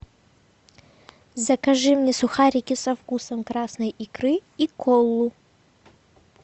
закажи мне сухарики со вкусом красной икры и колу